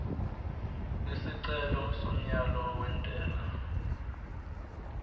isicelo somyalo wentela